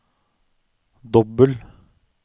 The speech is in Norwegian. dobbel